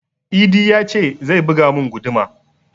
Idi ya ce zai buga mun guduma